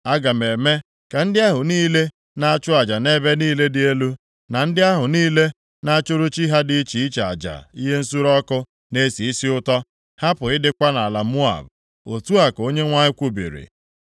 Aga m eme ka ndị ahụ niile na-achụ aja nʼebe niile dị elu, na ndị ahụ niile na-achụrụ chi ha dị iche iche aja ihe nsure ọkụ na-esi isi ụtọ, hapụ ịdịkwa nʼala Moab,” otu a ka Onyenwe anyị kwubiri.